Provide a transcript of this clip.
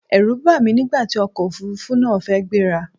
Ẹ̀rù bà mí nígbà tí ọkọ̀ Òfurufú náà fẹ́ gbé ra.